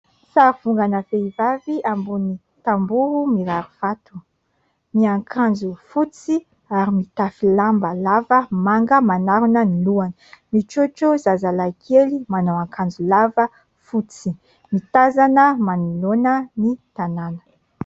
Sary vongana vehivavy ambony tamboho mirarivato : miankanjo fotsy ary mitafy lamba lava manga manarona ny lohana, mitrotro zazalahy kely, manao akanjo lava fotsy ; mitazana manoloana ny tanàna.